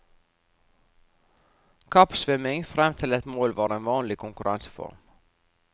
Kappsvømming frem til et mål var en vanlig konkurranseform.